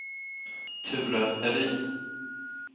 Ture Hedin